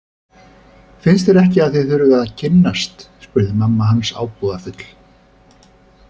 Finnst þér ekki að þið þurfið að kynnast spurði mamma hans ábúðarfull.